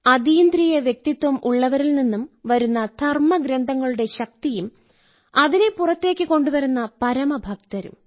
അതീന്ദ്രിയ വ്യക്തിത്വം ഉള്ളവരിൽ നിന്നും വരുന്ന ധർമ്മഗ്രന്ഥങ്ങളുടെ ശക്തിയും അതിനെ പുറത്തേക്ക് കൊണ്ടുവരുന്ന പരമഭക്തരും